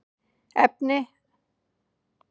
Efn not